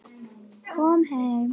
Kom heim!